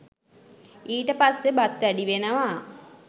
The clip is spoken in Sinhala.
ඊට පස්සේ බත් වැඩි වෙනවා